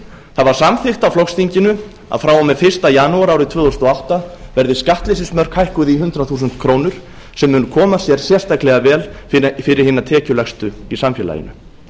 það var samþykkt á flokksþinginu að frá og með fyrsta janúar árið tvö þúsund og átta yrðu skattleysismörk hækkuð í hundrað þúsund krónur sem mun koma sér sérstaklega vel fyrir hina tekjulægstu í samfélaginu